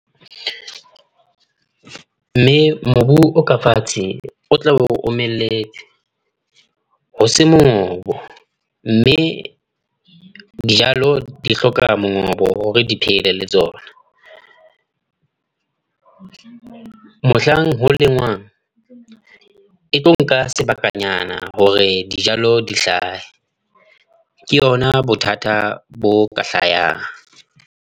Mme mobu o ka fatshe, o tla be o omelletse. O se mongobo, mme dijalo di hloka mongobo hore di phele tsona. Mohlang ho lengwang. E tlo nka sebakanyana hore dijalo di hlahe. Ke yona bothata bo ka hlayang.